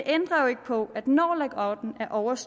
er også